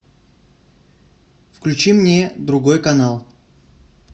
включи мне другой канал